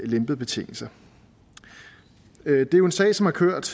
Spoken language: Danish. lempede betingelser det er jo en sag som har kørt